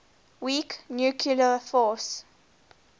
weak nuclear force